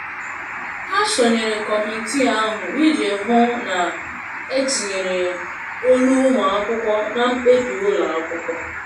Ha sonyere kọmitii ahụ iji hụ na etinyere olu ụmụ akwụkwọ na mkpebi ụlọ akwụkwọ.